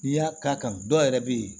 N'i y'a k'a kan dɔ yɛrɛ bɛ yen